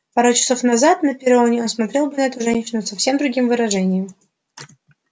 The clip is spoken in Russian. пару часов назад на перроне он смотрел бы на эту женщину с совсем другим вожделением